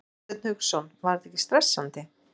Hafsteinn Hauksson: Var þetta ekkert stressandi?